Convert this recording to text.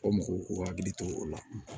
O mɔgɔw k'u hakili to o la